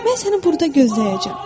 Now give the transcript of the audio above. Mən səni burda gözləyəcəm.